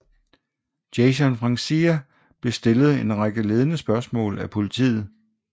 Jason Francia blev stillet en række ledende spørgsmål af politiet